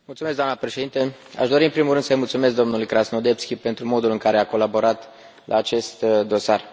Doamnă președintă, aș dori, în primul rând, să i mulțumesc domnului Krasnodębski pentru modul în care a colaborat la acest dosar.